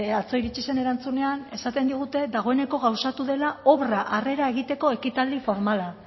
atzo iritsi zen erantzunean esaten digute dagoeneko gauzatu dela obra arrera egiteko ekitaldi formala